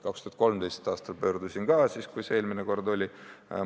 2013. aastal pöördusin ka, kui see eelmine kord päevakorral oli.